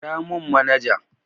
Kira mun manaja